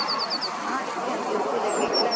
ਹਾਂਜੀ ਹਾਂਜੀ ਉੱਥੇ ਲੈਕੇ ਗਏ ਸੀ